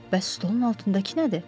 Bəs stolun altındakı nədir?